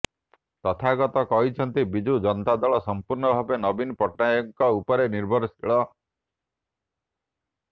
ତଥାଗତ କହିଛନ୍ତି ବିଜୁ ଜନତା ଦଳ ସଂପୂର୍ଣ୍ଣ ଭାବେ ନବୀନ ପଟ୍ଟନାୟକଙ୍କ ଉପରେ ନିର୍ଭରଶୀଳ